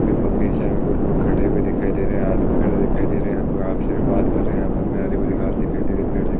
कुछ लोग खड़े हुए दिखाई दे रहे हैं। आदमी खड़े दिखाई दे रहे है। कोई आपसी में बात कर रहे हैं यहाँ पर। हरी-भरी घास दिखाई दे रही है। पेड़ दिख --